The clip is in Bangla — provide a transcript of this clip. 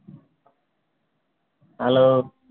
hello